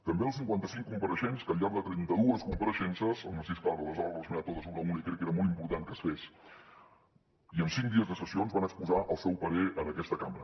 també als cinquanta cinc compareixents que al llarg de trenta dues compareixences en narcís clara les ha relacionades totes una a una i crec que era molt important que es fes i en cinc dies de sessions van exposar el seu parer en aquesta cambra